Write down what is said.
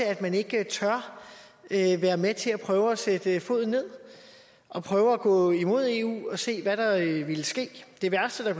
at man ikke tør være med til at prøve at sætte foden ned og prøve at gå imod i eu og se hvad der ville ske det værste der